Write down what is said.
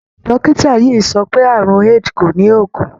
Dọ́kítà yìí sọ pé àrùn AID kò ní oògùn.